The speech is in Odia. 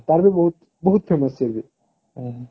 ତାର ବି ବହୁତ ବହୁତ famous ସିଏ ବି